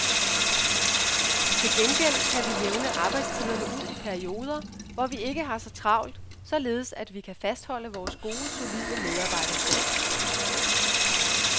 Til gengæld kan vi jævne arbejdstiderne ud i perioder, hvor vi ikke har så travlt, således at vi kan fastholde vores gode, solide medarbejderstab.